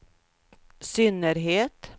synnerhet